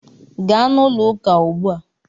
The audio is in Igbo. Gaa na ulo uka ugbu a!